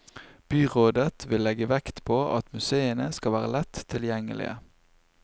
Byrådet vil legge vekt på at museene skal være lett tilgjengelige.